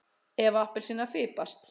Eva appelsína fipast.